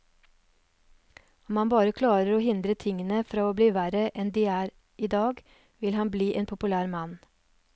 Om han bare klarer å hindre tingene fra å bli verre enn de er i dag, vil han bli en populær mann.